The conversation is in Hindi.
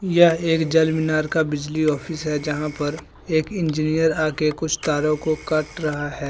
यह एक जलमीनार का बिजली ऑफिस है जहां पर एक इंजीनियर आके कुछ तारों को काट रहा है।